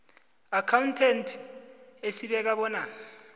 accountant esibeka bona